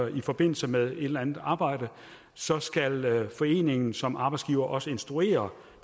i forbindelse med et eller andet arbejde så skal foreningen som arbejdsgiver også instruere